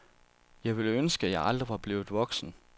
Jeg ville ønske, jeg aldrig var blevet voksen.